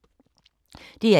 DR1